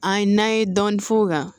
An ye n'an ye dɔɔnin f'o kan